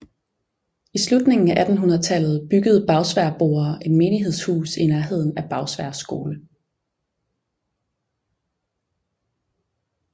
I slutningen af 1800 tallet byggede Bagsværdboere et menighedshus i nærheden af Bagsværd skole